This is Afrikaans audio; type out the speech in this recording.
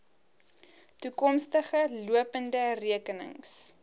toekomstige lopende rekenings